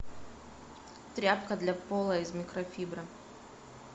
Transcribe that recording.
тряпка для пола из микрофибры